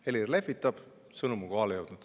Helir lehvitab, sõnum on kohale jõudnud.